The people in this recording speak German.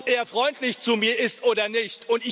Nicht darum, ob er freundlich zu mir ist oder nicht.